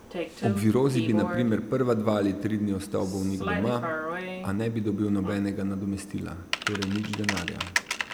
Ob virozi bi na primer prva dva ali tri dni ostal bolnik doma, a ne bi dobil nobenega nadomestila, torej nič denarja.